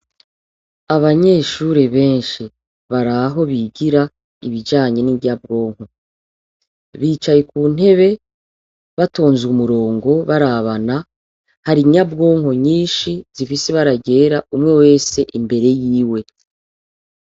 Abanyeshure benshi bari aho bigira ibijanye n'inyabwonko. Bicaye ku ntebe batonze umurongo barabana. Hari inyabwonko nyishi zifise ibara ryera, umwe wese imbere yiwe.